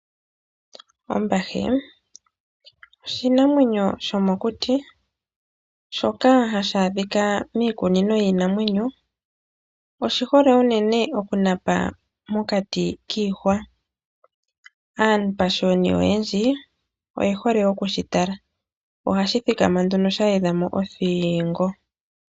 Ombahe oshinamwenyo shomokuti shoka hashi adhika miikuni yiinamwenyo, oshi hole unene okunapa mokati kiihwa. Aapashiyoni oyendji oye hole okushi tala. Ohashi thikama nduno sha edha mo othingo.